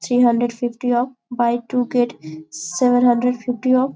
three hundred fifty off buy to get seven hundred fifty off --